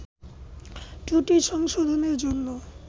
ত্রুটি সংশোধনের জন্য